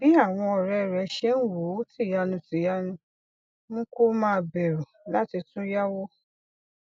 bí àwọn òré rè ṣe ń wò ó tìyanutìyanu mú kó máa bèrù láti tún yáwó